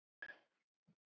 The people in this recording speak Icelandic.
á hvaða tíma viltu vera?